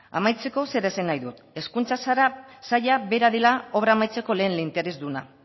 amaitzeko zera esan nahi dut hezkuntza saila bera dela obra amaitzeko lehen interesduna